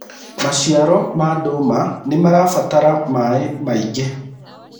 maciaro ma nduma nĩmarabatara maĩ maĩngi